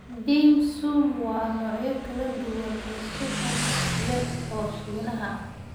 Dim sum waa noocyo kala duwan oo suxuun yar oo Shiinaha ah.